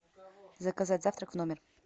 заказать завтрак в номер